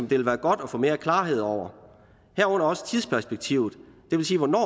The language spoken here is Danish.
ville være godt at få mere klarhed over herunder tidsperspektivet det vil sige hvornår